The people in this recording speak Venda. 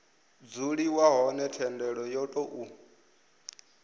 dzuliwa hone thendelo yo tou